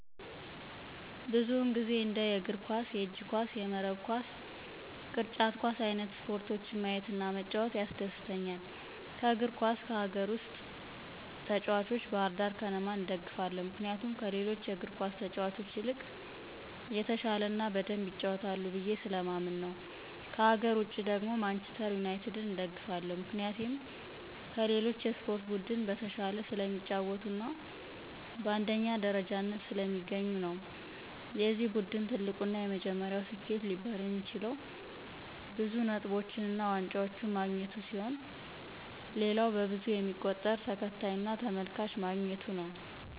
ብዙውን ጊዜ እንደ የእግር ኳስ፣ የእጅ ኳስ፣ የመረብ ኳስ፣ ቅርጫት ኳስ አይንት ስፖርቶችን ማየት እና መጫወት ያስደስተኛል። ከእግር ኳስ ከሀገር ውስጥ ተጭዋቾች ባህርዳር ከነማን እደግፋለሁ ምክንያቱም ከሌሎቹ እግር ኳስ ተጫዋቾች ይልቅ የተሻለ እና በደምብ ይጫወታሉ ብየ ስለማምን ነው። ከሀገር ውጭ ደግሞ ማንችስተር ዩናቲድን እደግፋለሁ ምክንያቴም ከሌሎች የስፖርት ቡድን በተሻለ ስለሚጫወቱ እና በአንደኛ ደረጃነት ስለሚገኙ ነው። የዚ ቡድን ትልቁ እና የመጀመሪያው ስኬት ሊባል የሚችለው ብዙ ነጥቦችን እና ዋንጫዎችን ማግኘቱ ሲሆን ሌላው በብዙ የሚቆጠር ተከታይ እና ተመልካች ማግኘቱ ነው።